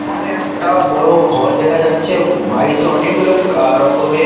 এইখানে একটা বড় ঘর দেখা যাচ্ছে। বাড়িতে অনেক লোক আ রকমের ।